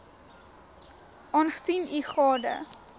aangesien u gade